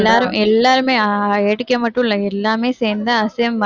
எல்லாரும் எல்லாருமே ஆஹ் ஏடிகே மட்டுல்ல எல்லாமே சேர்ந்து அசீம்